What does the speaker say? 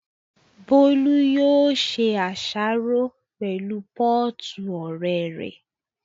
Bólú yóò ṣe àsáró pẹ̀lú pọ́ọ̀tù ọ̀rẹ́ rẹ̀